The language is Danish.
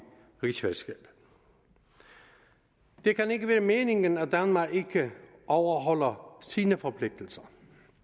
rigsfællesskabet det kan ikke være meningen at danmark ikke overholder sine forpligtelser